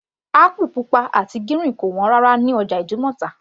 Apple pupa àti gírìn kò wọ́n rárá ní ọjà ìdúmọ̀tà